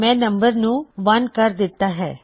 ਮੈਨੂੰ ਨੰਬਰ ਨੂੰ 1 ਕਰ ਦਿੱਤਾ ਹੈ